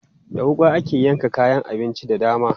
Da wuƙa ake yanka kayan abinci da dama.